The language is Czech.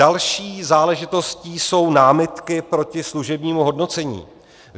Další záležitostí jsou námitky proti služebnímu hodnocení.